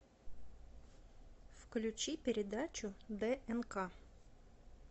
включи передачу днк